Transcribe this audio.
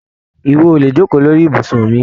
Ìwọ o le jokoo lórí ibùsùn mi!